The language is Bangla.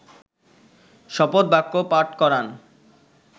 শপথবাক্য পাঠ করান